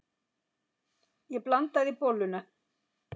Ég blandaði bolluna.